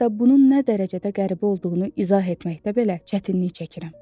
hətta bunun nə dərəcədə qəribə olduğunu izah etməkdə belə çətinlik çəkirəm.